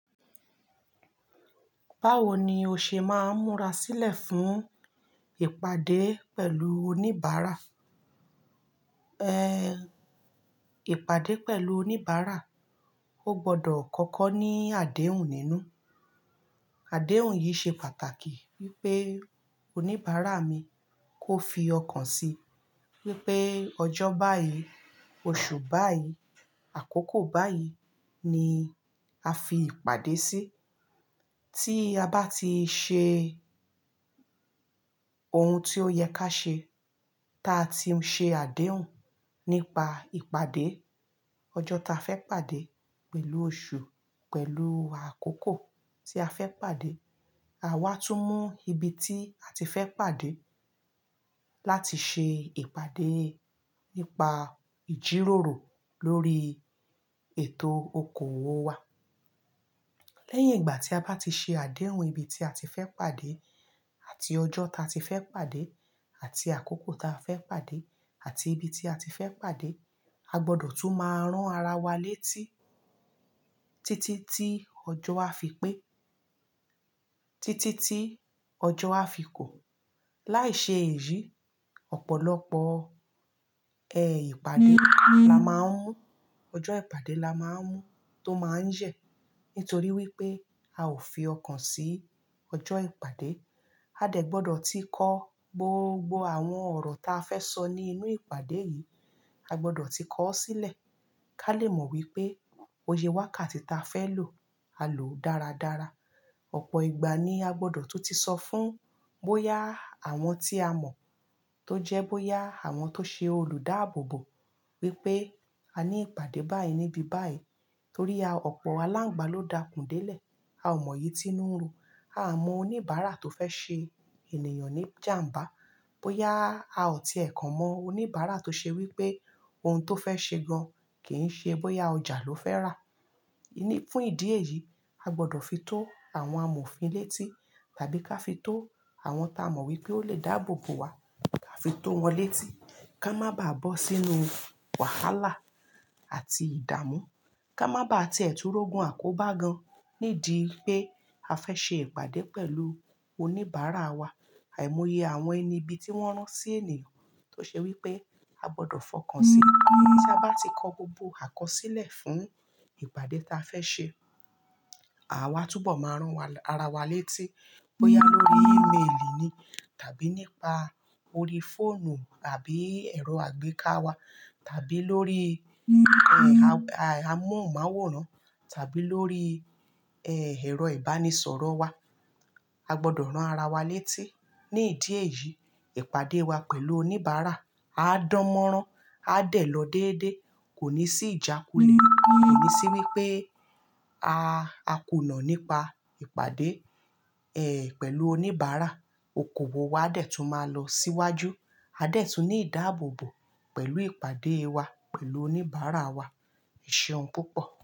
Báwo ni o ṣe máa ń múra sílẹ̀ fún ìpàdé pẹ̀lú oníbàárà? Ehn, ìpàdé pẹ̀lú oníbàárà, o gbọdọ̀ kọ́kọ́ ní àdéhùn nínú. Àdéhùn yìí ṣe pàtàkì wípé oníbàárà mi kó fi ọkàn sí wípé ọjọ́ báyìí, oṣù báyìí, àkókò báyìí ni a fi ìpàdé sí. Tí a bá ti ṣe ohun tí ó yẹ ká ṣe, táa ti ṣe àdéhùn nípa ìpàdé, ọjọ́ ta fẹ́ pàdé, pẹ̀lú oṣù, pẹ̀lú àkókò tí a fẹ́ pàdé, àwa tún mú ibi tí a ti fẹ́ pàdé láti ṣe ìpàdé nípa ìjíròrò lórí ètò okòwò wa. Lẹ́yìn ìgbà tí a bá ti ṣe àdéhùn ibi tí a ti fẹ́ pàdé àti ọjọ́ ta ti fẹ́ pàdé àti àkókò ta fẹ́ pàdé àti ibi tí a ti fẹ́ pàdé, a gbọdọ̀ tún máa rán ara wa létí títí tí ọjọ́ á fi pé, títí tí ọjọ́ á fi kò. Láì ṣe èyí, ọ̀pọ̀lọpọ̀, ẹ, ìpàdé la máa ń mú, ọjọ́ ìpàdé la máa ń mú tó máa ń yẹ̀. Nítorí wípé a ò fi ọkàn sí ọjọ́ ìpàdé. A dẹ̀ gbọdọ̀ ti kọ́ gbogbo àwọn ọ̀rọ̀ ta fẹ́ sọ ní inú ìpàdé yìí, a gbọdọ̀ ti kọ́ ọ́ sílẹ̀ ká lè mọ̀ wípé iye wákàtí ta fẹ́ lò, a lòó dáradára. Ọ̀pọ̀ ìgbà ni a gbọdọ̀ tún ti sọ fún bóyá àwọn tí a mọ̀, tó jẹ́ bóyá àwọn tó ṣe olùdáàbò bò wípé a ní ìpàdé báyìí níbi báyìí torí a, ọ̀pọ̀ alángbá ló dakùn délẹ̀. A ò mọ̀ èyí tínú n run. A o mọ oníbàárà tó fẹ́ ṣe ènìyàn ní jàǹbá. Bóyá a ò tí ẹ̀ kan mọ oníbàárà tó ṣe wípé ohun tó fẹ́ ṣe gan kì í ṣe, bóyá ọjà ló fẹ́ rà. Fún ìdí èyí, a gbọdọ̀ fi tó àwọn amòfin létí tàbí ká fi tó àwọn ta mọ̀ wípé ó lè dáàbò bò wá, ká fi tó wọn létí. Ka má bá bọ́ sínú wàhálà àti ìdàmú. Ka má bá ti è tú rógun àkóbá gan nídi pé a fẹ́ ṣe ìpàdé pẹ̀lú oníbàárà wa. Àìmọye àwọn ẹni ibi tí wọ́n rán sí ènìyàn tó ṣe wípé a gbọdọ̀ fọkàn sí i. Tí a bá ti kọ gbogbo àkọsílẹ̀ fún ìpàdé ta fẹ́ ṣe, àwa túbọ̀ máa rán wa, ara wa létí bóyá lórí email ni tàbí nípa orí fóònù àbí ẹ̀rọ àgbéká wa tàbí lórí ẹ̀hn, amóhùnmáwòrán tàbí lórí, ẹe, ẹ̀rọ ìbánisọ̀rọ̀ wa. A gbọdọ̀ rán ara wa létí. Ní ìdí èyí, ìpàdé wa pẹ̀lú oníbàárà á dánmọ́rán, á dẹ̀ lọ déédéé, kò ní sí ìjákulẹ̀, kò ní sí wípé a, a kùnà nípa ìpàdé, ẹ, pẹ̀lú oníbàárà. Okòwò wa a dẹ̀ tún máa lọ síwájú. A dẹ̀ tún ní ìdáàbò bò pẹ̀lú ìpàdé wa pẹ̀lú oníbàárà wa. Eṣeun púpọ̀.